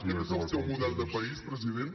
aquest és el seu model de país president